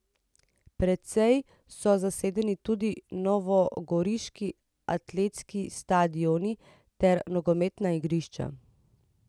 Precej so zasedeni tudi novogoriški atletski stadion ter nogometna igrišča.